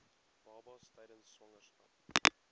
babas tydens swangerskap